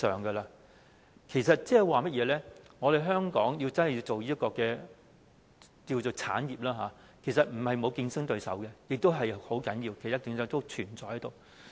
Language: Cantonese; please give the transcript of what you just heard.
換言之，香港真的要推動這產業，其實並非沒有競爭對手，這是很重要的，競爭對手一直存在着。